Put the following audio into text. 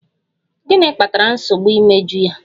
Gịnị kpatara nsogbu imeju ya?